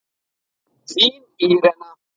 Þín Írena.